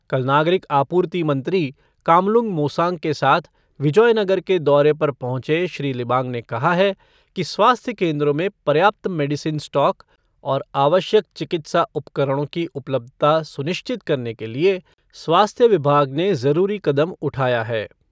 कल नागरिक आपूर्ति मंत्री कामलुंग मोसांग के साथ विजोयनगर के दौरे पर पहुँचे श्री लिबांग ने कहा है कि स्वास्थ्य केंद्रों में पर्याप्त मेडिसिन स्टॉक और आवश्यक चिकित्सा उपकरणों की उपलब्धता सुनिश्चित करने के लिए स्वास्थ्य विभाग ने जरूरी कदम उठाया है।